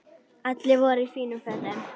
Allir voru í fínum fötum.